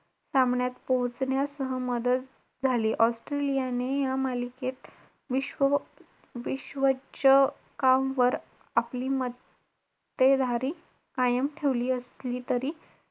किती confidence हे बग मला तीन विषय कळाले hpm मध्ये सत्ताविसा आहे तीसापैकी